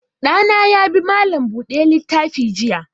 Ɗa na ya bi malam buɗe littafi jiya.